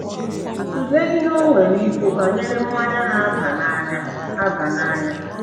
Tụlee ihe o nwere ikwu banyere mmanya na - aba n’anya - aba n’anya.